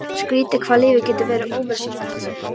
Skrýtið hvað lífið getur verið ófyrirsjáanlegt.